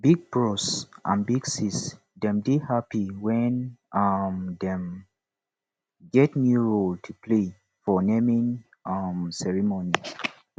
big bros and big sis dem dey happy wen um dem get new role to play for naming um ceremony